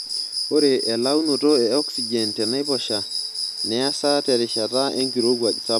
Ore elaunoto e oxygen tenaiposha neasa terishata enkirowuaj sapuk.